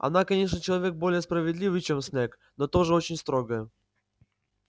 она конечно человек более справедливый чем снегг но тоже очень строгая